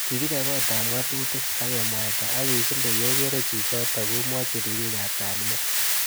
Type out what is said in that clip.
Kikibe kot ab ngatutik. akemwaita ak kikile yekoro chichotok omwochi ribik.ab kalyet.